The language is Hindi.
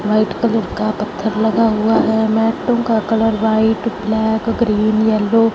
व्हाइट कलर का पत्थर लगा हुआ है मेटों का colour white black green yellow --